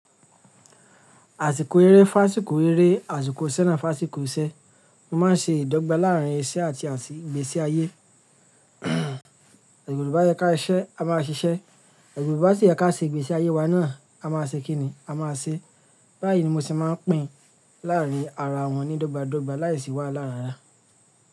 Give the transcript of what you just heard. Àsìkò eré fun àsìkò eré, àsìkò iṣẹ́ na fun àsìkò iṣẹ́. Mo máa ń ṣe ìdọ́gba láàrín iṣẹ́ àti ìgbésí ayé. Yorùbá yẹ ká siṣẹ́, a máa ṣiṣẹ́. Igna o bá sì yẹ ká ṣe ìgbésí ayé wa náà, a máa ṣe kí ni? A máa ṣe. Báyìí ni mo sì máa ń pín láàrín ara wọn ní dọ́gba dọ́gba láìsí wà lára ara.